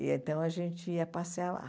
E então a gente ia passear lá.